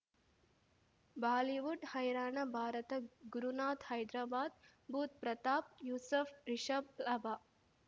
Bollywood ಹೈರಾಣ ಭಾರತ ಗುರುನಾಥ್ ಹೈದರಾಬಾದ್ ಬುಧ್ ಪ್ರತಾಪ್ ಯೂಸಫ್ ರಿಷಬ್ ಲಾಭ